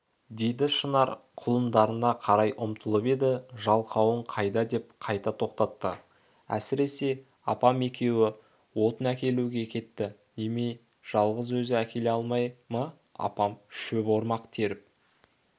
деді шынар құлындарына қарай ұмтылып еді жалқауың қайда деп қайта тоқтатты әсіреп апам екеуі отын әкелуге кетті немене жалғыз өзі әкеле алмай ма апам шөп ормақ теріп